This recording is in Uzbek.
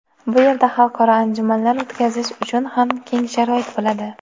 Bu yerda xalqaro anjumanlar o‘tkazish uchun ham keng sharoit bo‘ladi.